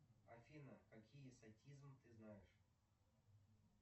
афина какие сатизм ты знаешь